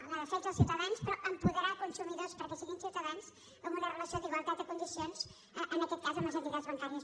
en la defensa dels ciutadans però apo·derar consumidors perquè siguin ciutadans amb una relació d’igualtat de condicions en aquest cas amb les entitats bancàries